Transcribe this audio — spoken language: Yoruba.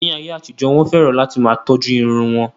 Ní ayé àtijó, Wọ́n fẹ́ràn láti máa tọ́jú irun wọn.